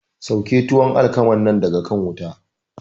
Sauke tuwon alkaman nan daga kan wuta!